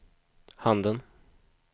handen